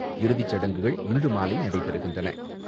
இறுதி சடங்குகள் இன்று மாலை நடைபெறுகின்றன.